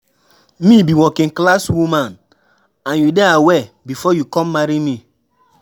Me be working class woman and you dey aware before you come marry me.